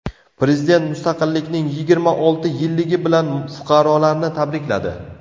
Prezident mustaqillikning yigirma olti yilligi bilan fuqarolarni tabrikladi .